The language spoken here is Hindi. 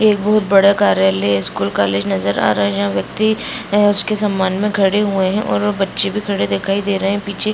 ये बहुत बड़ा कार्यालय है | स्कूल कॉलेज नजर आ रहा है | जहाँ व्यक्ति उसके सामान मै खड़े हुए हैं और बच्चे भी खड़े दिखाई दे रहे हैं | पीछे --